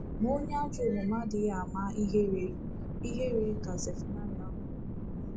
Ma onye ajọ omume adịghị ama ihere, ihere, ” ka Zefanaịa kwuru.